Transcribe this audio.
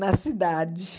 na cidade.